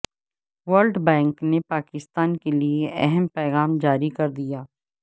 world bank نے پاکستان کیلئے اہم پیغام جاری کر دیا